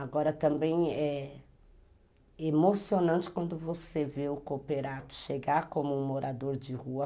Agora também é emocionante quando você vê o cooperato chegar como um morador de rua.